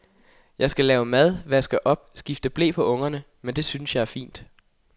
Jeg skal lave mad, vaske op, skifte ble på ungerne, men det synes jeg er fint.